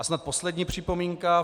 A snad poslední připomínka.